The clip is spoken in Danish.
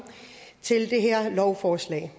til det her lovforslag